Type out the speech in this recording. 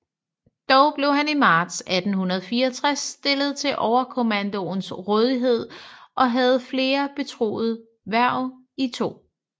Dog blev han i marts 1864 stillet til Overkommandoens rådighed og havde flere betroede hverv i 2